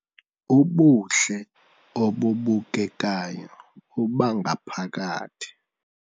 Ubuhle obubukekayo bobangaphakathi